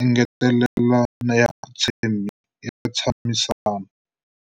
engetelela ya ntshamisano.